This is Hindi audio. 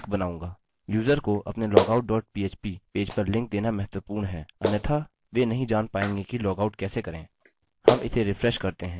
यूजर को अपने logout dot php पेज पर लिंक देना महत्वपूर्ण है अन्यथा वे नहीं जान पायेंगे कि लॉगआउट कैसे करें